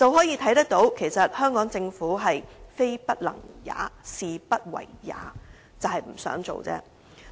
由此可見，香港政府其實是"非不能也，是不為也"，是不想做而已。